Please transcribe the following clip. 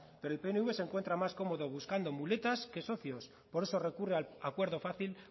pero el pnv se encuentra más cómodo buscando muletas que socios por eso recurre al acuerdo fácil